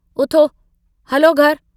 उथो हलो घर ।